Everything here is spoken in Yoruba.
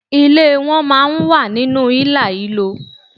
Ilé won máa n wà nínú ílàhílo